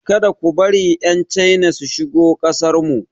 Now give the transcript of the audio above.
Ka da ku bari 'Yan China su shigo kasarmu.